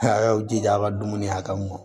A y'aw jija a ka dumuni hakɛ mun kɔ